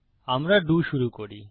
আমরা ডো শুরু করি